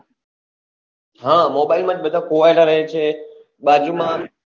હ mobile માં જ બધા ખોવાયલા રહે છે બાજુમાં